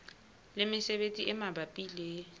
le mesebetsi e mabapi le